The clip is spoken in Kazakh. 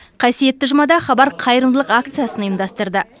қасиетті жұмада хабар қайырымдылық акциясын ұйымдастырды